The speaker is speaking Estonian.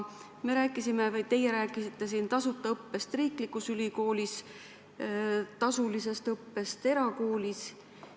Te rääkisite siin tasuta õppest riiklikus ülikoolis ja tasulisest õppest eraülikoolis.